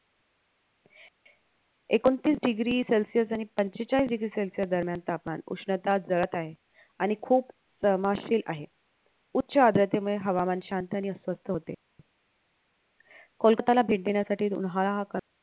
एकोणतीस degree celsius आणि पंचेचाळीस degree celsius दरम्यान तापमान उष्णता जळत आहे आणि खूप तमाशे आहे उच्च आद्रतेमुळे हवामान शांत आणि अस्वस्थ होते कोलकात्याला भेट देण्यासाठी उन्हाळा हा का